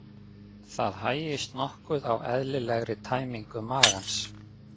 Það hægist nokkuð á eðlilegri tæmingu magans.